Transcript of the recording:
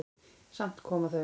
Samt komu þau.